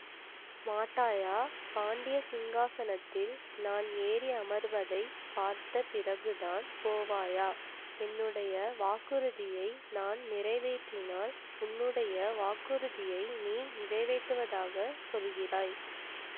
மாட்டாயா பாண்டிய சிங்காசனத்தில் நான் ஏறி அமர்வதைப் பார்த்த பிறகுதான் போவாயா என்னுடைய வாக்குறுதியை நான் நிறைவேற்றினால் உன்னுடைய வாக்குறுதியை நீ நிறைவேற்றுவதாகச் சொல்கிறாய்